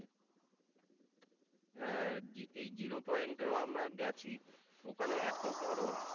হ্যাঁ এই জিরো পয়েন্টেও আমরা গেছি ওখানে এত বরফ